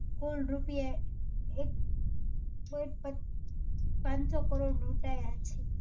કુલ રૂપિયે એક પાંચસો કરોડ લુટાયા છે.